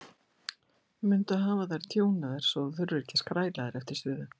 Mundu að hafa þær tjúnaðar svo þú þurfir ekki að skræla þær eftir suðu.